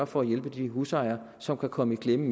for at hjælpe de husejere som kan komme i klemme